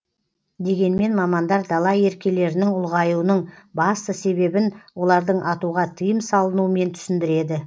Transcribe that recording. дегенмен мамандар дала еркелерінің ұлғаюының басты себебін олардың атуға тыйым салынумен түсіндіреді